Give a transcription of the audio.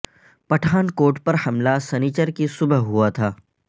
پٹھان کوٹ پر حملہ سنیچر کی صبح ہوا تھا